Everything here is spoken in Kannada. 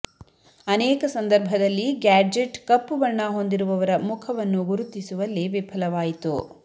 ಅನೇಕ ಸಂದರ್ಭದಲ್ಲಿ ಗ್ಯಾಡ್ಜೆಟ್ ಕಪ್ಪು ಬಣ್ಣ ಹೊಂದಿರುವವರ ಮುಖವನ್ನು ಗುರುತಿಸುವಲ್ಲಿ ವಿಫಲವಾಯಿತು